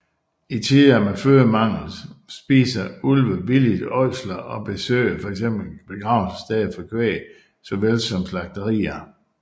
I tider med fødemangel spiser ulve villigt ådsler og besøger fx begravelsessteder for kvæg såvel som slagterier